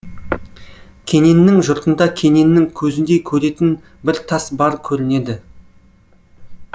кененнің жұртында кененнің көзіндей көретін бір тас бар көрінеді